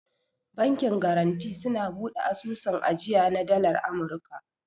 Bankin garanti suna bude asusun ajiya na dalar amurka.